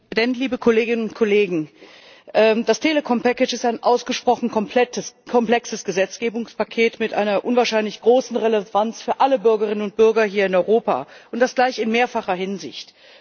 Herr Präsident, liebe Kolleginnen und Kollegen! Das Telekom Paket ist ein ausgesprochen komplexes Gesetzgebungspaket mit einer unwahrscheinlich großen Relevanz für alle Bürgerinnen und Bürger hier in Europa, und das gleich in mehrfacher Hinsicht.